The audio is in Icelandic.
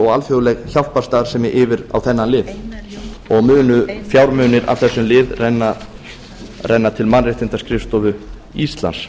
og alþjóðleg hjálparstarfsemi yfir á þennan lið munu fjármunir af þessum lið renna til mannréttindaskrifstofu íslands